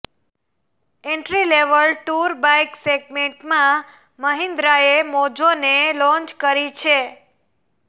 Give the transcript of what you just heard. entry level tour bike સેગમેન્ટમાં મહિન્દ્રાએ મોજોને લોન્ચ કરી છે